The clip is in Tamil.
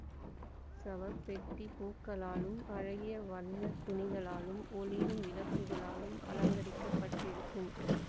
சவப்பெட்டி பூக்களாலும் அழகிய வர்ணத் துணிகளாலும் ஒளிரும் விளக்குகளாலும் அலங்கரிக்கப் பட்டிருக்கும்